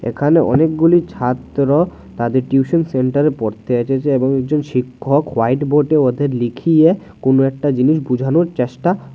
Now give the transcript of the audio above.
এখানে অনেকগুলি ছাত্র তাদের টিউশন সেন্টারে পড়তে এসেছে এবং একজন শিক্ষক হোয়াইট বোর্ডে ওদের লিখিয়ে কোন একটা জিনিস বুঝানোর চেষ্টা--